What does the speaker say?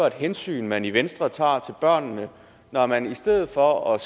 et hensyn man i venstre tager til børnene når man i stedet for at